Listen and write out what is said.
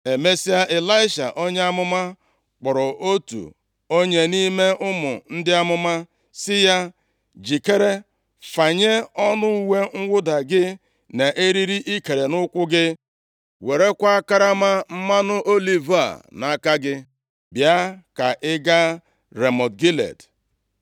Emesịa, Ịlaisha onye amụma, kpọrọ otu onye nʼime ụmụ ndị amụma sị ya, “Jikere, fanye ọnụ uwe mwụda gị nʼeriri ikere nʼukwu gị, + 9:1 Lit. belịt werekwa karama mmanụ oliv a nʼaka gị, bịa ka ị gaa Ramọt Gilead.